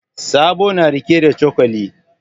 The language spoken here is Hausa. Sabo na riƙe da cokali.